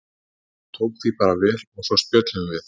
Hún tók því bara vel og svo spjölluðum við.